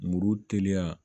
Muru teliya